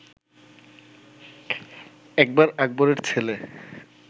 একবার আকবরের ছেলে